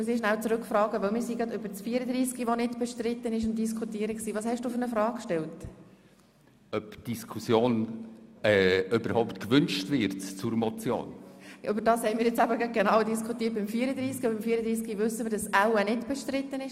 Darüber haben wir eben im Zusammenhang mit dem Traktandum 34 diskutiert, wobei wir davon ausgehen, dass diese Motion nicht bestritten ist.